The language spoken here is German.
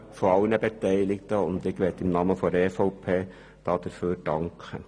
Ich möchte im Namen der EVP dafür danken.